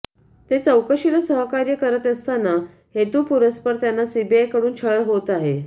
ते चौकशीला सहकार्य करीत असताना हेतुपुरस्सर त्यांचा सीबीआयकडून छळ होत आहे